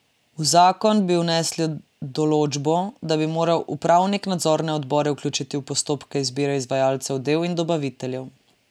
V zakon bi vnesli določbo, da bi moral upravnik nadzorne odbore vključiti v postopke izbire izvajalcev del in dobaviteljev.